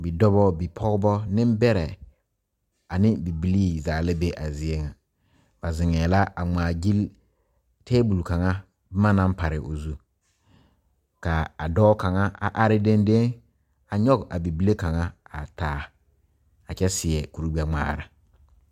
Bidɔba bipɔgeba nembɛrɛ ane bibilii zaa la be a zie ŋa ba zeŋɛɛ la a ŋmaa gyilli tabol kaŋa boma naŋ pare o zu ka a dɔɔ kaŋa a are dendeŋe a nyɔge a bibile kaŋa a taa a kyɛ seɛ kurigbɛŋmaara.